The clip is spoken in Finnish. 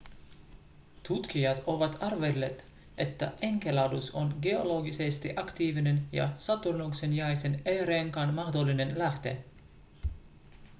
tutkijat ovat arvelleet että enceladus on geologisesti aktiivinen ja saturnuksen jäisen e-renkaan mahdollinen lähde